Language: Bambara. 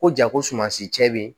Ko ja ko sumansi cɛ be ye